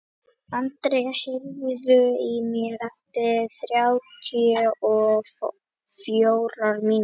André, heyrðu í mér eftir þrjátíu og fjórar mínútur.